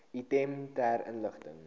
item ter inligting